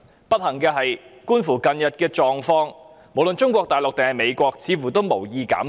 不幸的是，觀乎近日的情況，無論中國大陸還是美國似乎都無意減排。